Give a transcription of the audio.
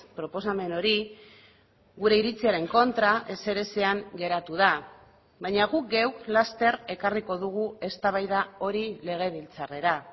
proposamen hori gure iritziaren kontra ezerezean geratu da baina guk geuk laster ekarriko dugu eztabaida hori legebiltzarrera